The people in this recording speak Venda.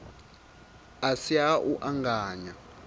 a si ha u anganya